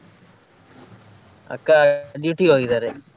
ಅಕ್ಕ duty ಗೆ ಹೋಗಿದ್ದಾರೆ.